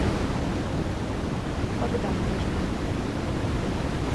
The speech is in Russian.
богдановичем